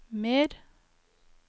mer